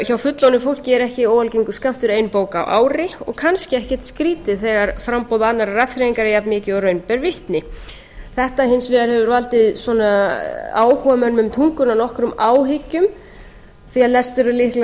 hjá fullorðnu fólki er ekki óalgengur skammtur ein bók á ári og kannski ekkert skrýtið þegar framboð annarrar afþreyingar er jafnmikið og raun ber vitni þetta hefur hins vegar valdið áhugamönnum um tunguna nokkrum áhyggjum því að lestur